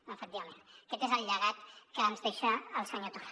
efectivament aquest és el llegat que ens deixa el senyor torra